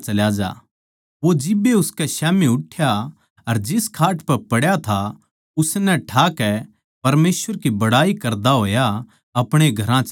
वो जिब्बे उनकै स्याम्ही उठ्या अर जिस खाट पै पड्या था उसनै ठाकै परमेसवर की बड़ाई करदा होया अपणे घरां चल्या गया